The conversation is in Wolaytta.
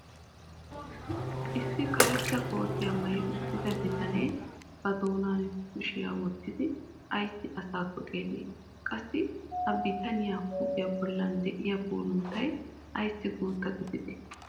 issi karetta koottiya maayi uttida bitanee ba doonan kushiyaa wottidi ayssi asaakko xeeli? qassi ha bitaniya huuphiya bolli diya puulunttay ayssi guutta gididee?